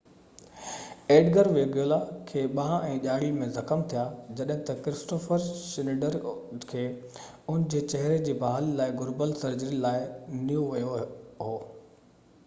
Edgar Veguilla کي ٻانهن ۽ ڄاڙي ۾ زخم ٿيا جڏهن ته ڪرسٽوففر شنيڊر کي ان جي چهري جي بحالي لاءِ گهربل سرجري لاءِ نيو ويو هو